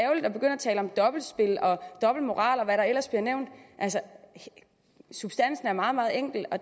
tale om dobbeltspil og dobbeltmoral og hvad der ellers bliver nævnt altså substansen er meget meget enkel og